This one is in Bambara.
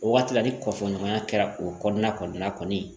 O waati la ni kɔfolonna kɛra o kɔnɔna kɔni ye